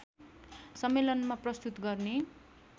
सम्मेलनमा प्रस्तुत गर्ने